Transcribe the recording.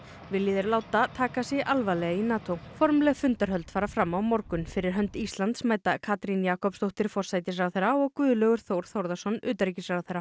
vilji þeir láta taka sig alvarlega í NATO formleg fundarhöld fara fram á morgun fyrir hönd Íslands mæta Katrín Jakobsdóttir forsætisráðherra og Guðlaugur Þór Þórðarson utanríkisráðherra